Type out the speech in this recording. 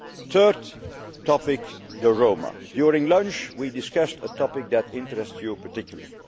crisis. Third topic the Roma. During lunch, we discussed a topic that interests you particularly.